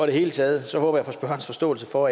det hele taget håber jeg på spørgerens forståelse for